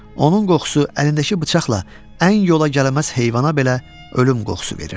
Onun qoxusu əlindəki bıçaqla ən yola gəlməz heyvana belə ölüm qoxusu verirdi.